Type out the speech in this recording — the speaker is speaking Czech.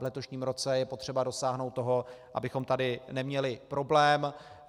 V letošním roce je potřeba dosáhnout toho, abychom tady neměli problém.